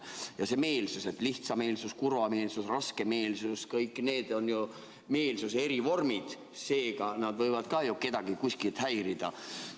Ja see meelsus: lihtsameelsus, kurvameelsus, raskemeelsus – kõik need on ju meelsuse eri vormid, ka need võivad ju kedagi kuskil häirida.